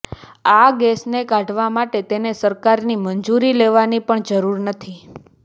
આ ગેસને કાઢવા માટે તેને સરકારની મંજૂરી લેવાની પણ જરૂર નથી